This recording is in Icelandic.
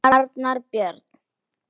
Arnar Björn.